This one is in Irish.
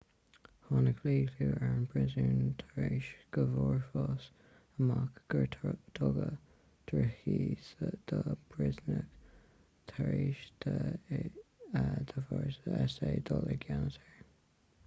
tháinig míchlú ar an bpríosún tar éis go bhfuarthas amach gur tugadh drochíde do phríosúnaigh tar éis d'fhórsaí s.a. dul i gceannas air